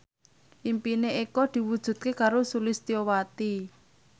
impine Eko diwujudke karo Sulistyowati